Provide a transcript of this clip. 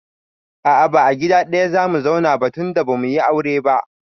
A'a ba gida ɗaya zamu zauna ba tunda bamuyi aure ba